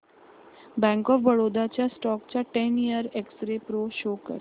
bank of Baroda च्या stock चा ten year X ray pro show कर